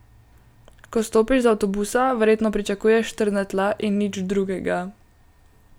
Ko stopiš z avtobusa, verjetno pričakuješ trdna tla in nič drugega.